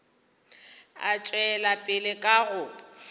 a tšwela pele ka go